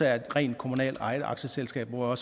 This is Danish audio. er rent kommunalt ejede aktieselskaber og at